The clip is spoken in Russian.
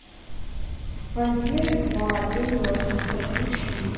вампиры два день мертвых подключи